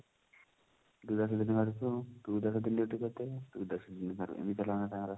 ତୁ ଯା ଦୁଇ ଦିନ ଘରୁକୁ ତୁ ଦେଢ ଦିନ duty କରିଦେ ତୁ ଦଶ ଦିନ ଘରେ ଏଇ